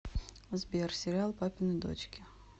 сбер сериал папины дочки